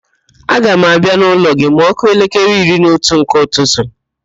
Aga m abịa n'ụlọ gị ma ọ kụọ elekere iri na otu nke ụtụtụ